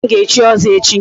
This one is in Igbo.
Nna m ga-echi ọzọ echi.